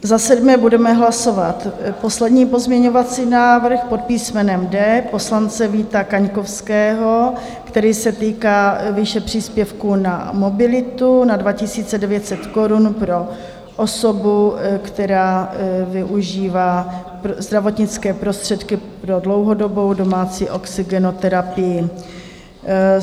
Za sedmé budeme hlasovat poslední pozměňovací návrh pod písmenem D poslance Víta Kaňkovského, který se týká výše příspěvku na mobilitu na 2 900 korun pro osobu, která využívá zdravotnické prostředky pro dlouhodobou domácí oxygenoterapii.